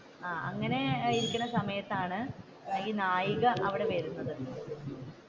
അങ്ങനെ ഇരിക്കുന്ന സമയത്തിലാണ് ഈ നായിക അവിടെ വരുന്നത്.